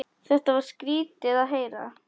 Þetta var skrýtið að heyra.